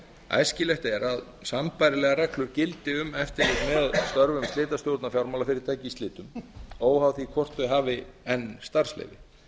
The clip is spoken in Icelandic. æskilegt er að sambærilegar reglur gildi um eftirlit með störfum slitastjórna fjármálafyrirtækja í slitum óháð því hvort þau hafi enn starfsleyfi